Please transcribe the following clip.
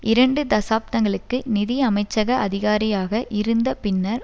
இரண்டு தசாப்தங்களுக்கு நிதி அமைச்சக அதிகாரியாக இருந்த பின்னர்